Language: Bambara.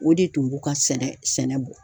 O de tun b'u ka sɛnɛ sɛnɛ bɔ.